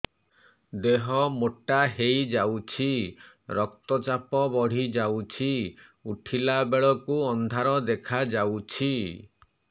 ଦେହ ମୋଟା ହେଇଯାଉଛି ରକ୍ତ ଚାପ ବଢ଼ି ଯାଉଛି ଉଠିଲା ବେଳକୁ ଅନ୍ଧାର ଦେଖା ଯାଉଛି